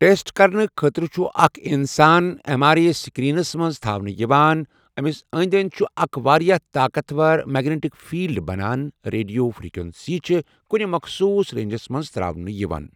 Test کَرنہٕ خٲطرٕ چھُ اَکھ اِنسان ایم آر آی سِکینَرَس مَنٛز تھاونہٕ یِوان، اَمِس أندؠ أندؠ چھُ اَکھ واریاہ طاقَتھ وَر میگنِٹِک فیلڈ بَنان ریڈیو فروکینسی چھِ کُنہِ مَخصوٗص رینجَس مَنٛز ترٛاونہٕ یِوان،.